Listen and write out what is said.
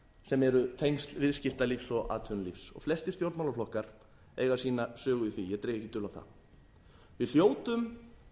sem eru tengsl viðskiptalífs og atvinnulífs og flestir stjórnmálaflokkar eiga sína sögu í því ég dreg ekki dul á það við hljótum